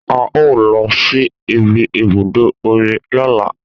A o lọ sí ìbi ibùdó omi lọ́la